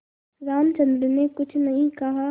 रामचंद्र ने कुछ नहीं कहा